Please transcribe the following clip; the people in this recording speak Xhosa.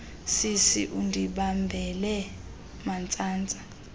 sisi undibambele mantsantsa